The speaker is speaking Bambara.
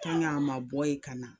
a ma bɔ yen ka na